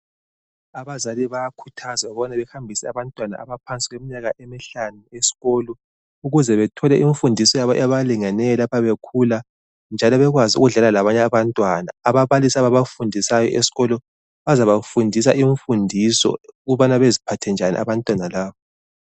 Abazali bayakhuthazwa ukubana behambise abantwana abaphansi kweminyaka emihlanu esikolo, ukuze bethole imfundiso ebalingeneyo lapha bekhula njalo bekwazi ukudlala labanye abantwana. Ababalisi abafundisayo esikolo bazafundisa imfundiso ukubana beziphathe njani abantwana laba.